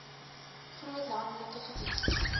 groot landelike gebied